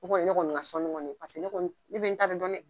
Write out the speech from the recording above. O kɔni ye ne kɔni ka sɔnni kɔni ye , paseke ne be n ta de dɔn dɛ!